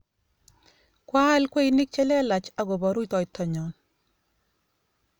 Kwaal kweinik che lelach akopo rutito nyon